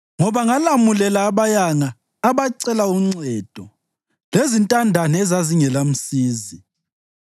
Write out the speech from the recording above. ngoba ngalamulela abayanga abacela uncedo, lezintandane ezazingelamsizi.